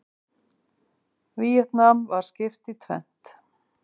Víetnam var skipt í tvennt.